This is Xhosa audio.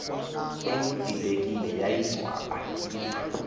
engudidekile yayicwaba iza